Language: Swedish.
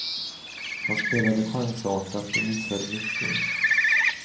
Han spelade chansartat och missade mycket.